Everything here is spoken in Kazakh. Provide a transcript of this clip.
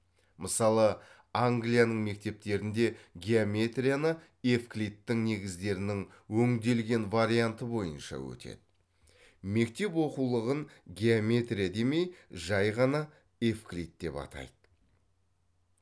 мысалы англияның мектептерінде геометрияны евклидтің негіздерінің өңделген варианты бойынша өтеді мектеп оқулығын геометрия демей жай ғана евклид деп атайды